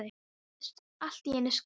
Það heyrðist allt í einu skrölt.